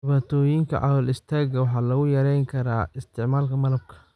Dhibaatooyinka calool-istaagga waxaa lagu yarayn karaa isticmaalka malab.